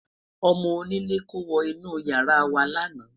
ọmọ onílè kò wo inú yàrá wa lana